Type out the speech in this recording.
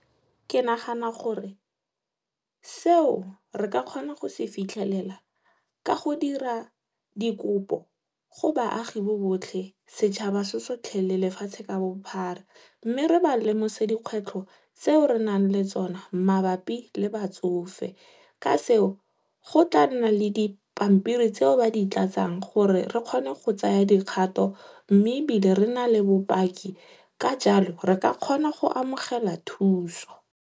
Ke nagana gore, seo re ka kgona go se fitlhelela ka go dira dikopo go baagi bo botlhe, setšhaba se sotlhe le lefatshe ka bophara. Mme re ba lemose dikgwetlho tseo re nang le tsone mabapi le batsofe. Ka seo, go tla nna le dipampiri tseo ba di tlatsang gore re kgone go tsaya dikgato mme ebile re nale bopaki ka jalo re ka kgona go amogela thuso.